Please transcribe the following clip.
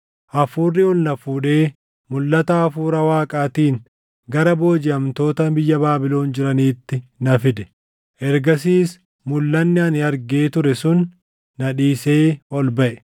Hafuurri ol na fuudhee mulʼata Hafuura Waaqaatiin gara boojiʼamtoota biyya Baabilon jiraniitti na fide. Ergasiis mulʼanni ani argee ture sun na dhiisee ol baʼe;